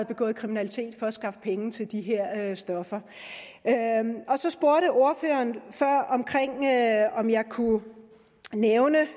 begået kriminalitet for at skaffe penge til de her stoffer så spurgte ordføreren før om jeg kunne nævne